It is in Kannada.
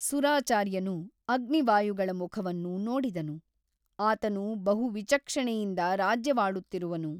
ಸುರಾಚಾರ್ಯನು ಅಗ್ನಿವಾಯುಗಳ ಮುಖವನ್ನು ನೋಡಿದನು ಆತನು ಬಹು ವಿಚಕ್ಷಣೆಯಿಂದ ರಾಜ್ಯವಾಳುತ್ತಿರುವನು.